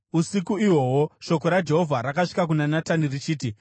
Usiku ihwohwo shoko raJehovha rakasvika kuna Natani, richiti: